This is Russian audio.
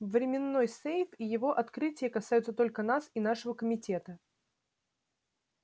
временной сейф и его открытие касаются только нас и нашего комитета